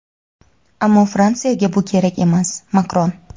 ammo Fransiyaga bu kerak emas – Makron.